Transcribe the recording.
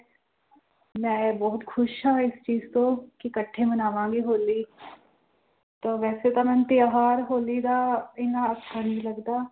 ਮੈਂ ਬਹੁਤ ਖ਼ੁਸ਼ ਹਾਂ ਇਸ ਚੀਜ਼ ਤੋਂ ਕਿ ਇਕੱਠੇ ਮਨਾਵਾਂਗੇ ਹੋਲੀ ਤੇ ਵੈਸੇ ਤਾਂ ਮੈਂ ਤਿਉਹਾਰ ਹੋਲੀ ਦਾ ਇੰਨਾ ਅੱਛਾ ਨਹੀਂ ਲੱਗਦਾ।